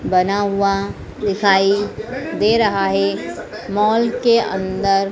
बना हुआ दिखाई दे रहा है मॉल के अंदर--